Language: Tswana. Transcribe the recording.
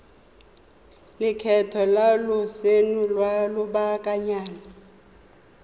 lekgetho la lotseno lwa lobakanyana